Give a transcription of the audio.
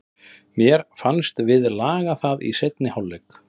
En mér fannst við laga það í seinni hálfleik.